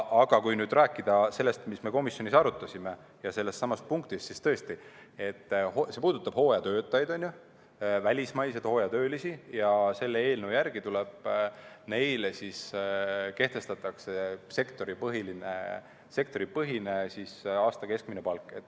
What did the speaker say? Aga kui nüüd rääkida sellest, mida me komisjonis arutasime, ja sellestsamast punktist, siis tõesti, see puudutab hooajatöötajaid, välismaiseid hooajatöölisi, ja selle eelnõu järgi tuleb neile kehtestada sektoripõhine aasta keskmine palk.